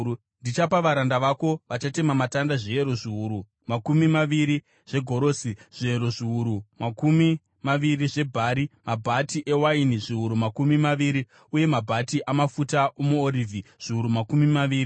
Ndichapa varanda vako vachatema matanda, zviyero zviuru makumi maviri zvegorosi, zviyero zviuru makumi maviri zvebhari, mabhati ewaini zviuru makumi maviri uye mabhati amafuta omuorivhi zviuru makumi maviri.”